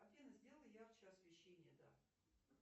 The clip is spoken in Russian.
афина сделай ярче освещение да